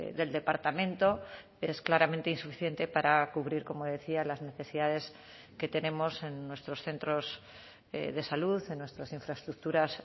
del departamento es claramente insuficiente para cubrir como decía las necesidades que tenemos en nuestros centros de salud en nuestras infraestructuras